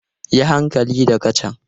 Yi hankali da kacan!